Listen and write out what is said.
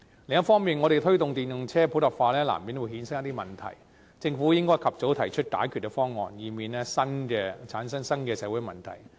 另一方面，我們推動電動車普及化難免會衍生出一些問題，政府應及早提出解決方案，以免產生新的社會問題。